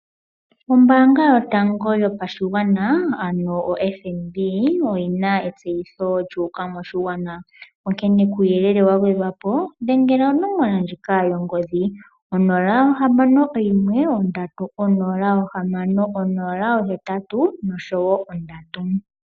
Ombaanga yotango yopashigwana ano oFNB oyina etseyitho lyuuka moshigwana, onkene kuuyelele wa gwedhwapo dhengela onomola ndjika yongodhi, 061 306083.